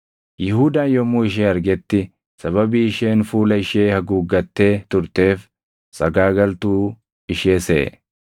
Yihuudaan yommuu ishee argetti sababii isheen fuula ishee haguuggattee turteef sagaagaltuu ishee seʼe.